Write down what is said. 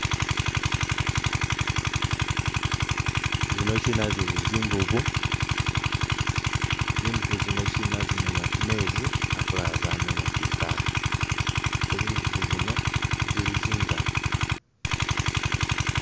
Zinokina zili zinvubu, zinvubu zino kina zimeenya ku meezi akulala zamenya kwitaaka, ate zinvubu zino zili zingali.